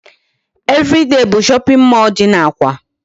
Everyday bụ shopping mall dị n'Awka.